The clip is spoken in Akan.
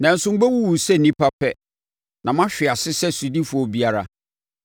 Nanso, mobɛwuwu sɛ nnipa pɛ; na moahwe ase sɛ sodifoɔ biara.”